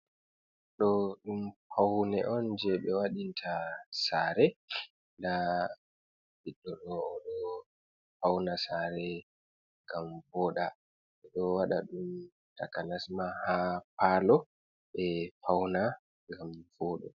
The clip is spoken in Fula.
Ɗo ɗum Paune'on je ɓe Waɗinta Sare, nada Ɓidɗoɗo oɗon Fauna Sare ngam Woɗa, ɓe ɗo Waɗa ɗum Takanasma ha Palo, ɓe Fauna ngam Woɗa.